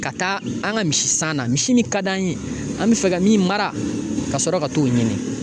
Ka taa an ka misisan na misi min ka d'an ye an bɛ fɛ ka min mara kasɔrɔ ka t'o ɲini